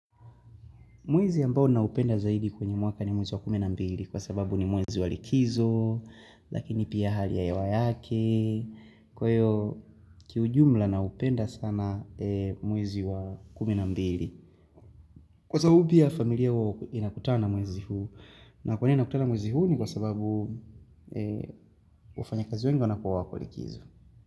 Mwezi ambao naupenda zaidi kwenye mwaka ni mwezi wa kumi na mbili kwa sababu ni mwezi wa likizo, lakini pia hali ya hewa yake, kwa hiyo kiujumla naupenda sana mwezi wa kumi na mbili. Kwa sababu pia familia hua inakutana mwezi huu, na kwa nini inakutana mwezi huu ni kwa sababu wafanyakazi wengi wanakuwa wako likizo.